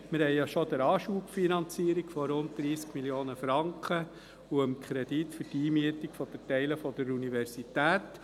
Wir stimmten ja bereits der Anschubfinanzierung von rund 30 Mio. Franken zu sowie dem Kredit für die Einmietung für Teile der Universität.